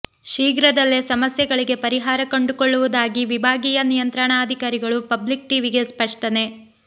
ಶೀಘ್ರದಲ್ಲೇ ಸಮಸ್ಯೆಗಳಿಗೆ ಪರಿಹಾರ ಕಂಡುಕೊಳ್ಳುವುದಾಗಿ ವಿಭಾಗೀಯ ನಿಯಂತ್ರಣಾಧಿಕಾರಿಗಳು ಪಬ್ಲಿಕ್ ಟಿವಿಗೆ ಸ್ಪಷ್ಟನೆ